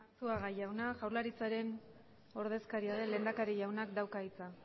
eskerrik asko arzuaga jauna jaurlaritzaren ordezkaria den lehendakari jaunak dauka hitza